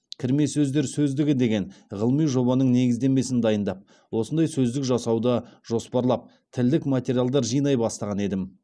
кірме сөздер сөздігі деген ғылыми жобаның негіздемесін дайындап осындай сөздік жасауды жоспарлап тілдік материалдар жинай бастаған едім